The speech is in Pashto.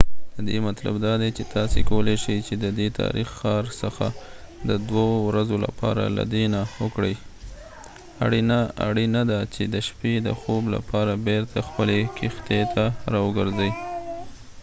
ددی مطلب دادی چی تاسی کولای شی ددی تاریخی ښار څخه د دوه ورځو لپاره لیدنه وکړئ اړینه ده چی د شپی د خوب لپاره بیرته خپلی کښتۍ ته راوګرځئ